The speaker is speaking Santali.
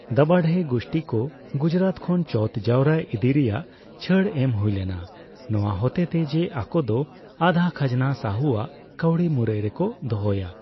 ᱫᱟᱵᱷᱟᱰᱮ ᱜᱩᱥᱴᱤ ᱠᱚ ᱜᱩᱡᱨᱟᱴ ᱠᱷᱚᱱ ᱪᱳᱣᱛᱷ ᱡᱟᱣᱨᱟ ᱤᱫᱤᱭ ᱨᱮᱭᱟᱜ ᱪᱷᱟᱹᱲ ᱮᱢ ᱦᱩᱭᱞᱮᱱᱟ ᱱᱚᱣᱟ ᱦᱚᱛᱮᱛᱮ ᱡᱮ ᱟᱠᱚᱫᱚ ᱟᱫᱷᱟ ᱠᱷᱟᱡᱱᱟ ᱥᱟᱦᱩ ᱟᱜ ᱠᱟᱹᱣᱰᱤ ᱢᱩᱨᱟᱹᱭ ᱨᱮᱠᱚ ᱫᱚᱦᱚᱭᱟ ᱾